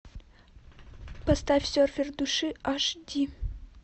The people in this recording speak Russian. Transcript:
поставь серфер души аш ди